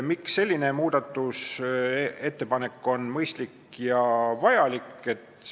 " Miks selline muudatusettepanek on mõistlik ja vajalik?